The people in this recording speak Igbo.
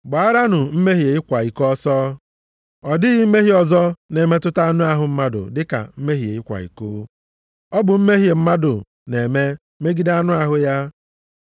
Gbaaranụ mmehie ịkwa iko ọsọ. Ọ dịghị mmehie ọzọ na-emetụta anụ ahụ mmadụ dịka mmehie ịkwa iko. Ọ bụ mmehie mmadụ na-eme megide anụ ahụ ya.